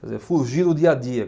Quer dizer, fugir do dia a dia.